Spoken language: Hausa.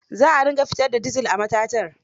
Za a dinga fitar da dizal a matatar.